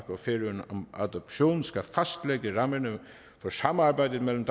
og færøerne om adoption skal fastlægge rammerne for samarbejdet mellem